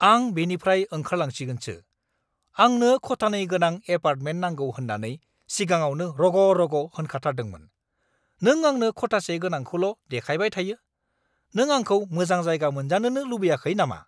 आं बेनिफ्राय ओंखारलांसिगोनसो। आंनो खथानै गोनां एपार्टमेन्ट नांगौ होन्नानै सिगाङावनो रग'-रग' होनाखाथारदोंमोन, नों आंनो खथासे गोनांखौल' देखायबाय थायो; नों आंखौ मोजां जायगा मोनजानोनो लुबैखायाखै नामा!